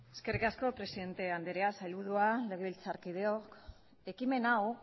eskerrik asko presidente andrea sailburua legebiltzarkideok ekimen hau